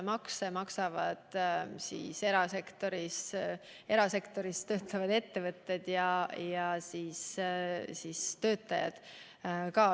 Makse maksavad ka erasektoris tegutsevad ettevõtted ja sealsed töötajad.